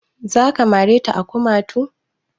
Za ka mare ta a kumatu?